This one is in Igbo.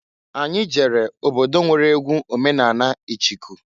Anyị jere obodo nwere egwu omenani ịchịkụ.